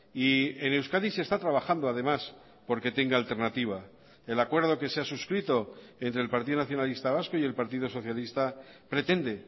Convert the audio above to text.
y en euskadi se está trabajando además porque tenga alternativa el acuerdo que se ha suscrito entre el partido nacionalista vasco y el partido socialista pretende